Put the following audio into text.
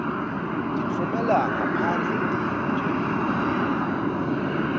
titfumela ngaphandle tintje